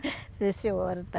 Sim, senhora.